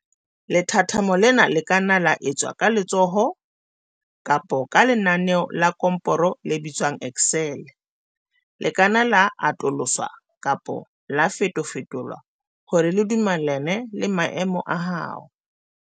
Lethathamo lena le ka nna la etswa ka letsoho, kapa ka lenaneo la komporo le bitswang Excel. Le ka nna la atoloswa kapa la fetofetolwa hore le dumellane le maemo a hao.